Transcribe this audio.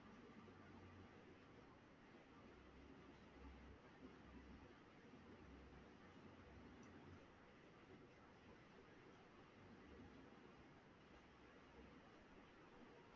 அவுங்க trainers உம் அதே மாதிரி available ஆ இருப்பாங்க நீங்க அப்டி பாத்ததுல தான் என்னோட number அ பாத்துருகீங் so இதுல வ~ நாங்க என்ன பண்றோம் அப்டினன்னா அஹ் எல்லாருக்குமே வந்து meditation எப்டி வந்து அவுங்க